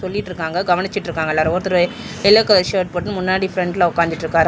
சொல்லிட்ருக்காங்க கவனிச்சிட்ருக்காங்க எல்லாரு ஒருத்தரு எல்லோ கலர் ஷர்ட் போட்னு முன்னாடி ஃபிரெண்ட்ல உக்காந்துட்ருக்காரா--